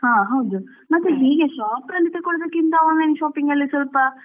ಹಾ ಹೌದು ಮತ್ತೆ ಹೀಗೆ shop ಅಲ್ಲಿ ತಕೊಳ್ಳೋಕ್ಕಿಂತ online shopping ಅಲ್ಲಿ.